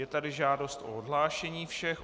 Je tady žádost o odhlášení všech.